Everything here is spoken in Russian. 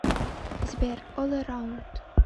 сбер ол эраунд